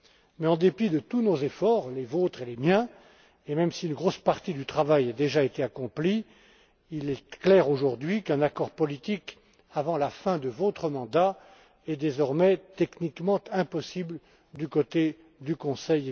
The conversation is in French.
Mais en dépit de tous nos efforts, les vôtres et les miens, et même si une grosse partie du travail a déjà été accomplie, il est clair aujourd'hui qu'un accord politique avant la fin de votre mandat est désormais techniquement impossible du côté du Conseil.